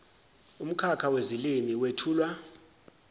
umkhakha wezilimi wethulwa